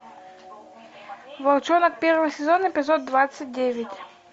волчонок первый сезон эпизод двадцать девять